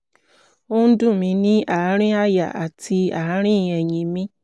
ó ń dùn mí ní àárín àyà àti àárín ẹ̀yìn mi